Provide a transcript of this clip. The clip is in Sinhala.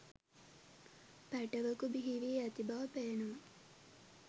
පැටවකු බිහිවී ඇති බව පේනවා